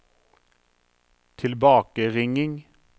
tilbakeringing